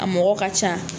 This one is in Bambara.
A mɔgɔ ka ca